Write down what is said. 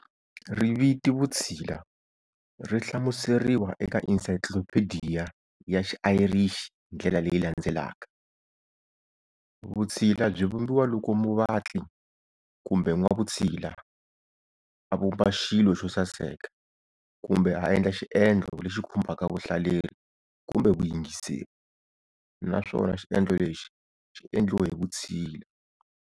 Riviti'Vutshila' rihlamuseriwa eka Insayclophediya ya xi Ayrishi hindlela leyi landzelaka-"Vutshila byivumbiwa loko muvatli kumbe n'wavutshila, a vumba xilo xosaseka, kumbe a endla xiendlo lexi khumbaka vahlaleri kumbe vayingiseri, naswona xiendlo lexi xi endliwe hivutshila."